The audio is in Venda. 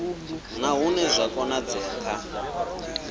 na hune zwa konadzea kha